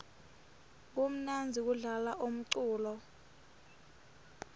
kumnandzi kudlala umculo